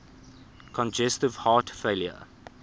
congestive heart failure